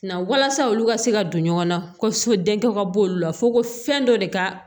Na walasa olu ka se ka don ɲɔgɔn na kosɛ denkɛ ka bɔ olu la fo ko fɛn dɔ de ka